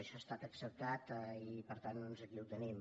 això ha estat acceptat i per tant doncs aquí ho tenim